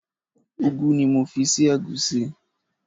Ugu ni mo fi sí ẹ̀gúsí.